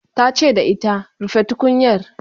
ta ce da ita "rufe tukunyar"